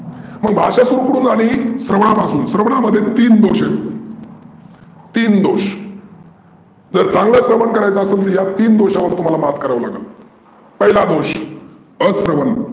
मग भाषा सुरू कुठून झाली? स्रवनापासून. स्रवनामध्ये तीन दोष आहेत. तीन दोष जर चांगल स्रवन करायचं असेल तर या तीन दोषावर मात करावा लागेल. पहीला दोष अस्रवन,